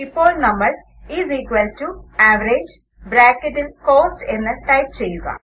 ഇപ്പോൾ നമ്മൾ is equal to average ബ്രാക്കറ്റിൽ കോസ്റ്റ് എന്ന് ടൈപ് ചെയ്യുക